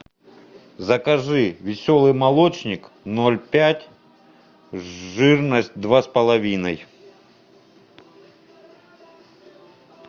закажи веселый молочник ноль пять жирность два с половиной